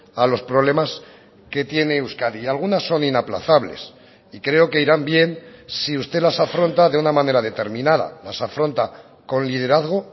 a los problemas que tiene euskadi y algunas son inaplazables y creo que irán bien si usted las afronta de una manera determinada las afronta con liderazgo